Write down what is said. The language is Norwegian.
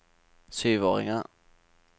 syvåringer